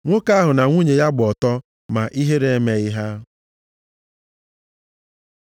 Nwoke ahụ na nwunye ya gba ọtọ, ma ihere emeghị ha.